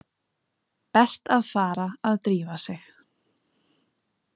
Best að fara að drífa sig.